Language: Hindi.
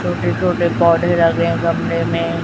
छोटे छोटे पौधे लगे गमले में।